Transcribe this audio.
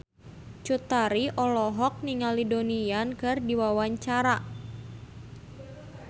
Cut Tari olohok ningali Donnie Yan keur diwawancara